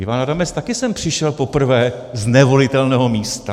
Ivan Adamec také sem přišel poprvé z nevolitelného místa.